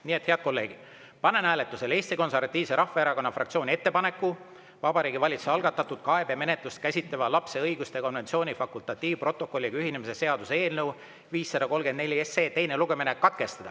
Nii et, head kolleegid, panen hääletusele Eesti Konservatiivse Rahvaerakonna fraktsiooni ettepaneku Vabariigi Valitsuse algatatud kaebemenetlust käsitleva lapse õiguste konventsiooni fakultatiivprotokolliga ühinemise seaduse eelnõu 534 teine lugemine katkestada.